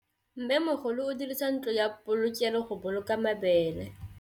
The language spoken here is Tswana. Mmêmogolô o dirisa ntlo ya polokêlô, go boloka mabele.